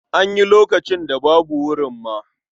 An yi lokacin da babu wurin ma.